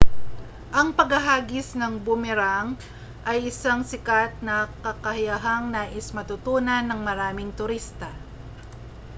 ang paghahagis ng boomerang ay isang sikat na kakayahang nais matutunan ng maraming turista